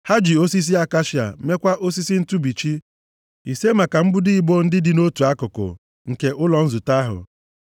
Ha ji osisi akashia mekwaa osisi ntụbichi, ise maka mbudo ibo ndị dị nʼotu akụkụ nke ụlọ nzute ahụ,